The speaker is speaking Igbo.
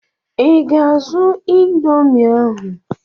I ga-azụta ịndomii ahụ?